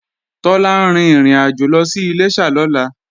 Tọ́lá ń rin ìrìnàjò lọ sí Iléṣà lọ́la